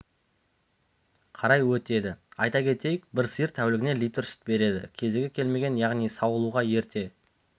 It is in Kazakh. қарай өтеді айта кетейік бір сиыр тәулігіне литр сүт береді кезегі келмеген яғни сауылуға ерте